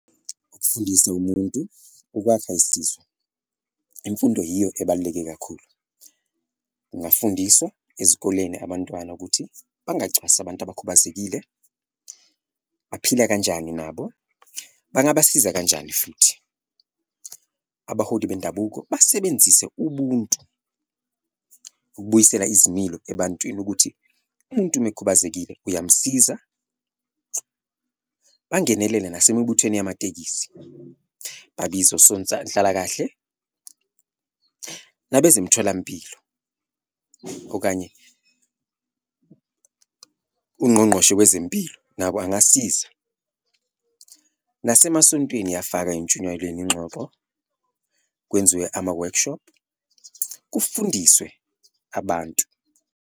Ukusindisa umuntu ukwakha zisizwe, imfundo yiyo ebaluleke kakhulu kungafundiswa ezikoleni abantwana ukuthi bangacwasi abantu abakhubazekile, baphila kanjani nabo, bangabasiza kanjani futhi. Abaholi bendabuko basebenzise ubuntu ukubuyisela izimilo ebantwini ukuthi umuntu uma ekhubazekile uyamsiza, bangenelele nasemibuthweni yamatekisi, babize nabezemtholampilo, okanye ungqongqoshe wezempilo nabo angasiza. Nasemasontweni iyafaka entshunyayelweni ingxoxo, kwenziwe ama-workshop kufundiswe abantu.